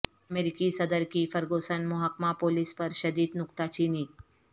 امریکی صدر کی فرگوسن محکمہ پولیس پر شدید نکتہ چینی